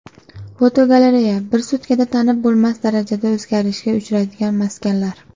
Fotogalereya: Bir sutkada tanib bo‘lmas darajada o‘zgarishga uchraydigan maskanlar.